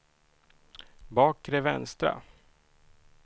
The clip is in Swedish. bakre vänstra